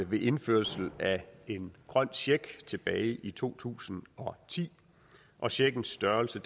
ved indførelse af en grøn check tilbage i to tusind og ti og checkens størrelse